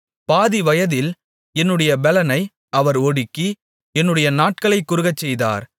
பாதி வயதில் என்னுடைய பெலனை அவர் ஒடுக்கி என்னுடைய நாட்களைக் குறுகச்செய்தார்